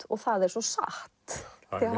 og það er svo satt því